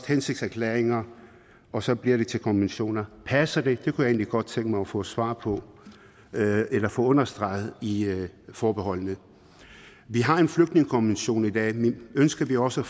hensigtserklæringer og så bliver det til konventioner passer det det kunne jeg egentlig godt tænke mig at få svar på eller få understreget i forbeholdene vi har en flygtningekonvention i dag men ønsker vi også